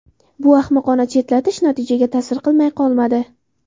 Bu ahmoqona chetlatish natijaga ta’sir qilmay qolmadi.